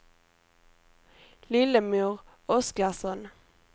Lillemor Oskarsson